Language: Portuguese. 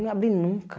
Não ia abrir nunca.